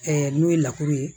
n'o ye ye